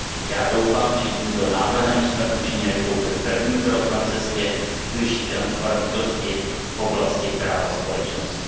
Já doufám, že tímto návrhem jsme učinili pouze první krok na cestě k vyšší transparentnosti v oblasti práva společností.